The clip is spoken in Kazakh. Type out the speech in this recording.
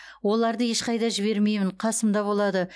оларды ешқайда жібермеймін қасымда болады